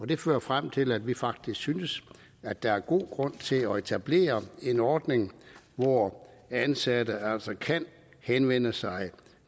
det fører frem til at vi faktisk synes at der er god grund til at etablere en ordning hvor ansatte altså kan henvende sig